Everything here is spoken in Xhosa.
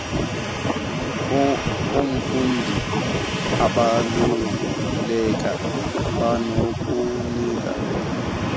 komfundi abaluleke kwanokunika